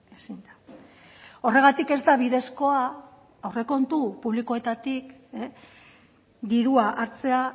ezin da horregatik ez da bidezkoa aurrekontu publikoetatik dirua hartzea